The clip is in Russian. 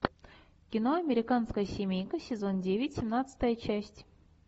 кино американская семейка сезон девять семнадцатая часть